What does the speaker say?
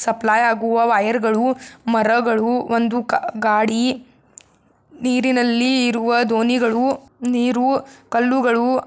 supply ಆಗುವ ವೈಯರ್ಗಳು ಮರಗಳು ಒಂದು ಗ-ಗಾಡಿ ನೀರಿನಲ್ಲಿ ಇರುವ ದೋಣಿಗಳು ನೀರು ಕಲ್ಲುಗಳು.--